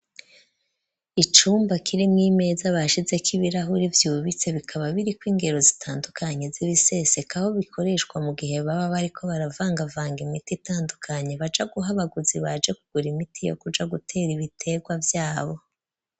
Icumba, kirimwo imeza, bashizeko ibirahuri vyubitse; bikaba biriko ingero zitandukanye, z'ibiseseka; aho bikoreshwa mu gihe, baba bariko baravangavanga, imiti itandukanye; baja guha abaguzi, baje kugura imiti, yo kuja gutera, ibiterwa vyabo.